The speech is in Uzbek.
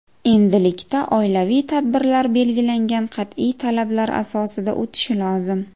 Endilikda oilaviy tadbirlar belgilangan qat’iy talablar asosida o‘tishi lozim.